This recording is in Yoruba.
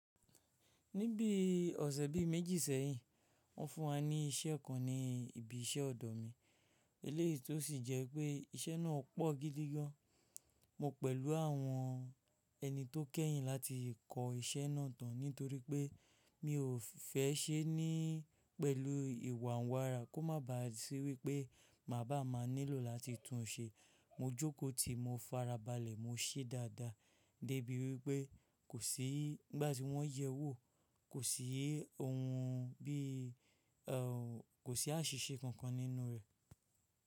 Ní bí ọ̀sẹ̀ bí méjì sẹ́yìn, wọ́n fún wa ní ìṣe kan ní ibi iṣẹ́ ọ̀dọ̀ mi, eléyìí tó sì jẹ́ pé iṣẹ́ náà pọ̀ gidi gan. Mo pẹ̀lú àwọn ẹni tó kẹ́yìn láti kọ́ iṣẹ́ náà tán nítorí pé mi ò fẹ́ se ní pẹ̀lú ìwànwará kó má ba à ṣé wípé má ba à má nílò láti tún un ṣe. Mo jókòó ti mo farabalẹ̀ mo ṣẹ́ dáadáa débi wípẹ́ kò sí nígbàtí wọ́n yẹ wò kò sí ohun bí i, kò sí àṣìṣe kankan nínú rẹ̀